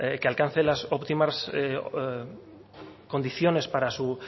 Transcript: que alcance las óptimas condiciones para su